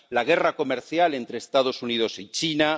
la guerra comercial entre los Estados Unidos y China